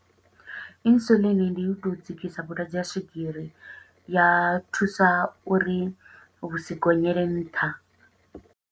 Insulin ndi u tou dzikisa vhulwadze ha swigiri, ya thusa uri vhu si gonyele nṱha.